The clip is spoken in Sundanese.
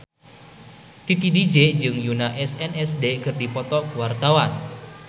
Titi DJ jeung Yoona SNSD keur dipoto ku wartawan